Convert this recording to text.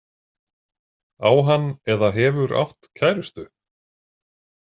Á hann eða hefur átt kærustu?